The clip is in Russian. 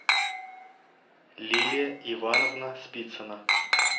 лилия ивановна спицына